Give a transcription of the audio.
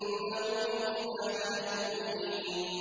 إِنَّهُ مِنْ عِبَادِنَا الْمُؤْمِنِينَ